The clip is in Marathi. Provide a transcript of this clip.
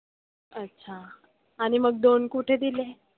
अच्छा. आणि मग दोन कुठे दिले आहे?